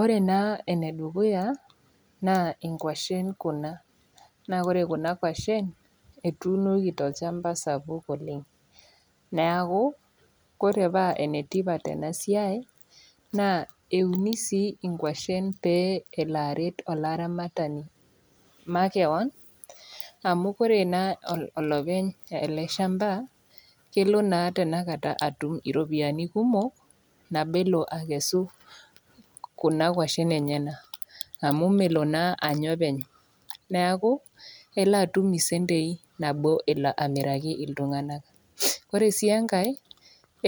Ore naa ene dukuya, naa inkwashen Kuna, naa ore kuna inkwashen ketuunoki tolchamba sapuk oleng',neaku ore paa sapuk ena siai naa euni sii inkwashen pew elo aret olaramatani makewan amu ore naa olopeny ele shamba, elo tenakata atum iropiani kumok, nabo elo aakesu Kuna kwashen enyena, amu melo naa Anya openy. Neaku elo atum isentei naalo aamiraki iltung'ana. Ore sii enkai,